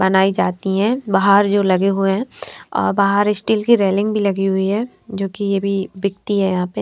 बनाई जाती हैं बाहर जो लगे हुए हैं और बाहर स्टील की रेलिंग भी लगी हुई है जो कि ये भी बिकती है यहां पे--